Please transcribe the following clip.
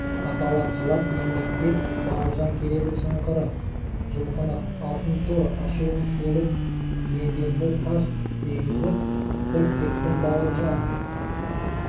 апалапжылап еңбектеп бауыржан келеді шыңғырып жұлқынып алтын тұр ашуым келіп еденді тарс дегізіп бір тептім бауыржан